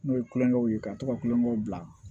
N'o ye kulonkɛw ye ka to ka kulonkɛw bila